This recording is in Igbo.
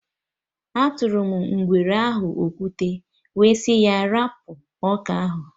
Atụrụ m ngwere ahụ okwute, wee sị ya 'rapụ ọka ahụ!'